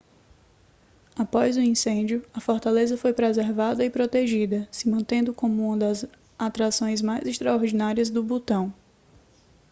após o incêndio a fortaleza foi preservada e protegida se mantendo como uma das atrações mais extraordinárias do butão